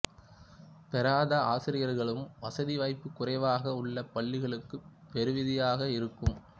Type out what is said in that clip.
பெறாத ஆசிரியர்களுக்கும் வசதி வாய்ப்பு குறைவாக உள்ள பள்ளிகளுக்கும் பேருதவியாக இருக்கும்